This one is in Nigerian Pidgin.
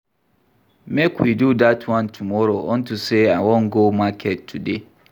Make we do dat one tomorrow unto say I wan go market today